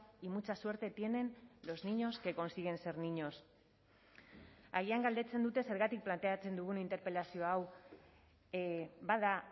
y mucha suerte tienen los niños que consiguen ser niños agian galdetzen dute zergatik planteatzen dugun interpelazio hau bada